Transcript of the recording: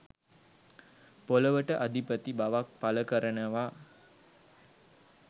පොළවට අධිපති බවක් පළ කරනවා.